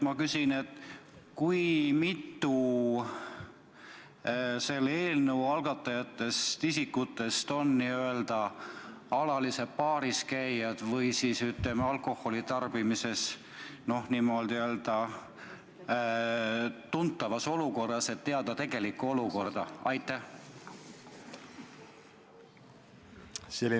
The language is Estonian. Kui mitu inimest selle eelnõu algatajatest on alalised baaris käijad või, ütleme, on alkoholitarbimises, niimoodi, tuntavas olukorras, et teada tegelikku olukorda?